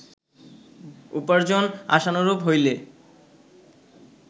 উপার্জন আশানুরূপ হইলে